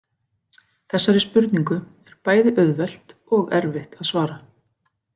Þessari spurningu er bæði auðvelt og erfitt að svara.